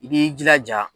I b'i jilaja